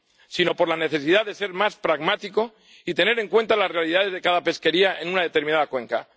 sino por la necesidad de ser más pragmáticos y tener en cuenta las realidades de cada pesquería en una determinada cuenca.